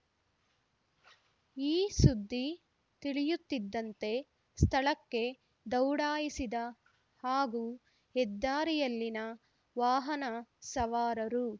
ಈ ಸುದ್ದಿ ತಿಳಿಯುತ್ತಿದ್ದಂತೆ ಸ್ಥಳಕ್ಕೆ ದೌಡಾಯಿಸಿದ ಹಾಗೂ ಹೆದ್ದಾರಿಯಲ್ಲಿನ ವಾಹನ ಸವಾರರು